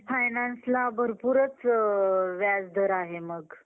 financeला भरपूरच व्याज दर आहे मग.